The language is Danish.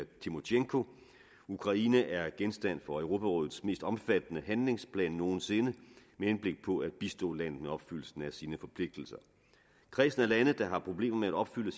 timosjenko ukraine er genstand for europarådets mest omfattende handlingsplan nogen sinde med henblik på at bistå landet med opfyldelsen af sine forpligtelser kredsen af lande der har problemer med at opfylde